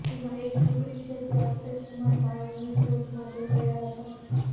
જેમાં એક ઝુંપડી છે ત્યાં અક્ષય કુમાર પાણીની શોધ માટે ગયા હતા